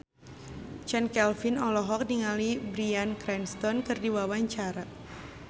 Chand Kelvin olohok ningali Bryan Cranston keur diwawancara